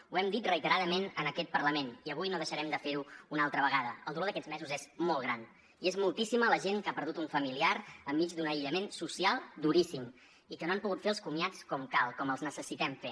ho hem dit reiteradament en aquest parlament i avui no deixarem de fer ho una altra vegada el dolor d’aquests mesos és molt gran i és moltíssima la gent que ha perdut un familiar enmig d’un aïllament social duríssim i que no han pogut fer els comiats com cal com els necessitem fer